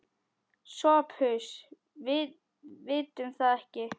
SOPHUS: Við vitum það ekki.